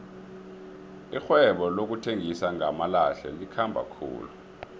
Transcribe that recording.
irhwebo lokuthengisa ngamalahle likhamba khulu